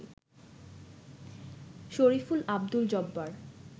Shariful, Abdul Jabbar